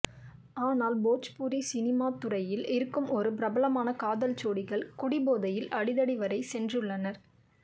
ஆனால் போஜ்பூரி சினிமா துறையில் இருக்கும் ஒரு பிரபலமான காதல் ஜோடிகள் குடிபோதையில் அடிதடி வரை சென்றுள்ளனர்